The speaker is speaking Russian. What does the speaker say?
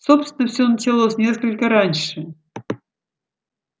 собственно всё началось несколько раньше